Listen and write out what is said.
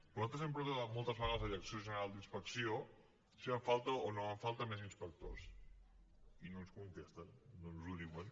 però nosaltres hem preguntat moltes vegades a la direcció general d’inspecció si fan falta o no fan falta més inspectors i no ens contesten no ens ho diuen